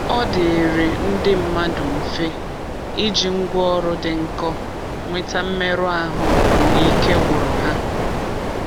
ọdịịrị ndi mmadụ mfe iji ngwa ọrụ dị nkọ nwete mmerụ ahụ mgbe ike gwụrụ ha.